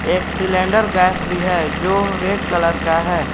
एक cylinder gas भी है जो रेड कलर का है।